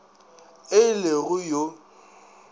e le go b yo